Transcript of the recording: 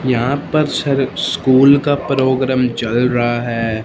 यहां पर स्कूल का प्रोग्राम चल रहा है।